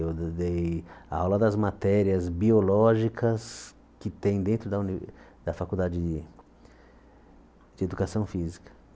Eu de dei a aula das matérias biológicas que tem dentro da uni da Faculdade de Educação Física.